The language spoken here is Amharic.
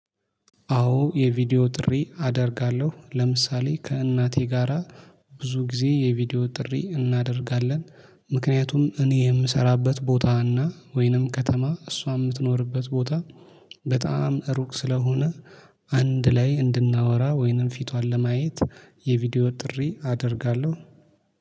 አዎ የቪዲዮ ጥሪ አደርጋለሁ። ለምሳሌ ከእናቴ ጋራ ብዙ ጊዜ የቪዲዮ ጥሪ እናደርጋለን ምክንያቱም እኔ የምሰራበት ቦታ እና ወይንም ከተማ እሷ የምትኖርበት ቦታ በጣም ሩቅ ስለሆነ። አንድ ላይ እንድናወራ ወይንም ፊቷን ለማየት የቪዲዮ ጥሪ አደርጋለሁ።